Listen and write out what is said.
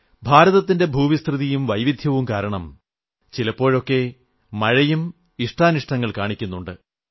ഭാരതത്തിന്റെ ഭൂവിസ്തൃതിയും വൈവിധ്യവും കാരണം ചിലപ്പോഴൊക്കെ മഴയും ഇഷ്ടാനിഷ്ടങ്ങൾ കാണിക്കുന്നുണ്ട്